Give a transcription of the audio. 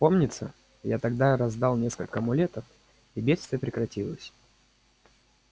помнится я тогда раздал несколько амулетов и бедствие прекратилось